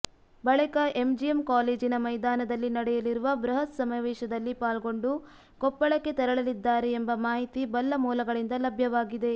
ಬಳಿಕ ಎಂಜಿಎಂ ಕಾಲೇಜಿನ ಮೈದಾನದಲ್ಲಿ ನಡೆಯಲಿರುವ ಬೃಹತ್ ಸಮಾವೇಶದಲ್ಲಿ ಪಾಲ್ಗೊಂಡು ಕೊಪ್ಪಳಕ್ಕೆ ತೆರಳಲಿದ್ದಾರೆ ಎಂಬ ಮಾಹಿತಿ ಬಲ್ಲ ಮೂಲಗಳಿಂದ ಲಭ್ಯವಾಗಿದೆ